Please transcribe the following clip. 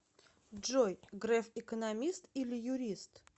джой греф экономист или юрист